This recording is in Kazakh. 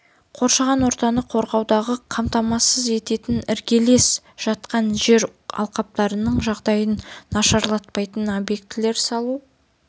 қоршаған ортаны қорғауды қамтамасыз ететін іргелес жатқан жер алқаптарының жағдайын нашарлатпайтын объектілер салу